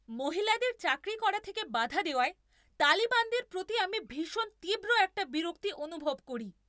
মহিলাদের চাকরি করা থেকে বাধা দেওয়ায় তালিবানদের প্রতি আমি ভীষণ তীব্র একটা বিরক্তি অনুভব করি।